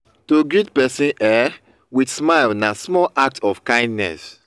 to greet persin um with smile na small act of kindness